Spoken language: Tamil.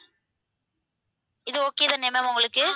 இது okay தானே ma'am உங்களுக்கு